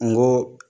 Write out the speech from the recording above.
N go